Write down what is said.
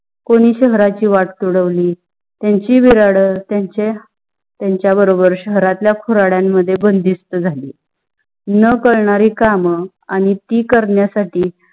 कोणी शहराची वाट तुडवली, त्यांची त्यांच्या बरोबर शहरातल्या खुराध्यांमध्ये बंदिस्त झाली. न कळणारी काम आणि ती करण्यासाठी